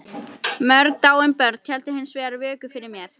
Mörg dáin börn héldu hins vegar vöku fyrir mér.